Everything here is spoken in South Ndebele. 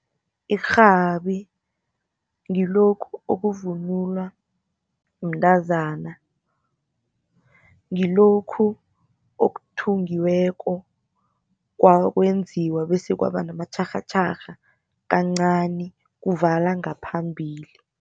Irhabi ngilokhu okuvunulwa mntazana, ngilokhu okuthungiweko kwenziwa bese kwaba namatjharhatjharha kancani, kuvala ngaphambili.